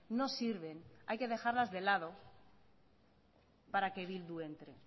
no sirven hay que dejarlas de lado para que bildu entre